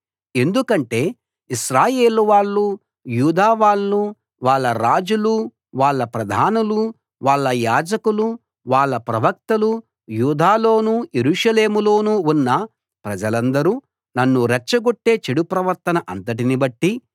ఎందుకంటే ఇశ్రాయేలు వాళ్ళు యూదా వాళ్ళు వాళ్ళ రాజులు వాళ్ళ ప్రధానులు వాళ్ళ యాజకులు వాళ్ళ ప్రవక్తలు యూదాలోనూ యెరూషలేములోనూ ఉన్న ప్రజలందరూ నన్ను రెచ్చగొట్టే చెడు ప్రవర్తన అంతటిని బట్టి